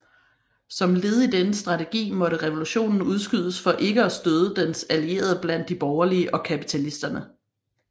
Som led i denne strategi måtte revolutionen udskydes for ikke at støde dens allierede blandt de borgerlige og kapitalisterne